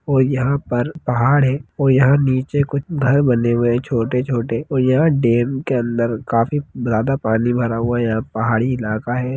और यहां पर पहाड़ है और यहां नीचे कुछ घर बनें हुए हैं छोटे-छोटे और यहां डेम के अंदर काफी ज्यादा पानी भरा हुआ है यहां पहाड़ी इलाका है।